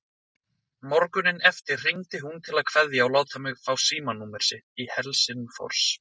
Morguninn eftir hringdi hún til að kveðja og láta mig fá símanúmer sitt í Helsingfors.